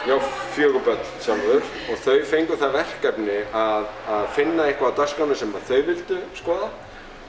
fjögur börn sjálfur og þau fengu það verkefni að finna eitthvað á dagskránni sem að þau vildu skoða